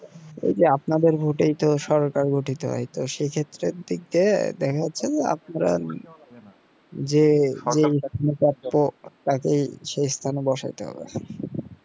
এই যে আপনাদের ভোটে তো সরকার গঠিত হয় তো সে ক্ষেত্রে দিক দিয়ে দেখা যাচ্ছে যে আপনার যে এর প্রাপ্য তাকে সে স্থানে বসাতে হবে